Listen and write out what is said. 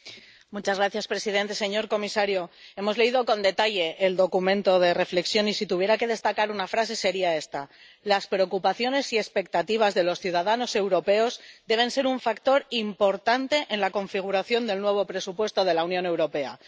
Señor presidente, señor comisario, hemos leído con detalle el documento de reflexión, y si tuviera que destacar una frase sería esta Las preocupaciones y expectativas de los ciudadanos europeos deben ser un factor importante en la configuración del nuevo presupuesto de la Unión Europea.